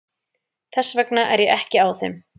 Þess vegna er ég ekki á þeim.